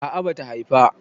a'a bata Haifa